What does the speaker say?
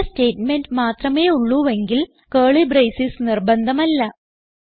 ഒറ്റ സ്റ്റേറ്റ്മെന്റ് മാത്രമേ ഉള്ളുവെങ്കിൽ കർലി ബ്രേസസ് നിർബന്ധമല്ല